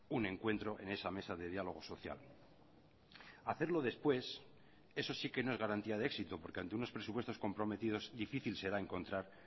un encuentro en esa mesa de diálogo social hacerlo después eso sí que no es garantía de éxito porque ante unos presupuestos comprometidos difícil será encontrar